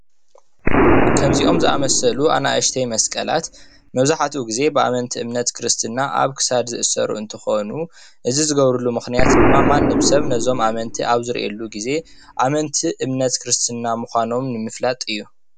ከምዚኦም ዝአመሰሉ አናእሽተይ መስቀላት መብዛሕትኡ ግዜ ብአመንቲ እምነት ክርስትና አብ ክሳድ ዝእሰሩ እንትኮኑ እዚ ዝግበረሉ ምክንያት ድማ ማንም ሰብ ነዞም ኣመንቲ አብ ዝሪኡሉ ግዜ አመንቲ እምነት ክርስትና ምካኖም ንምፍላጥ እዩ፡፡